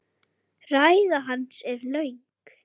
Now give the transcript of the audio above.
Ræða hans er löng.